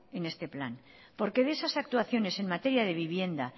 en este plan porque de esas actuaciones en materia de vivienda